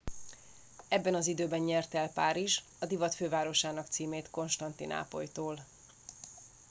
ebben az időben nyerte el párizs a divat fővárosának címét konstantinápolytól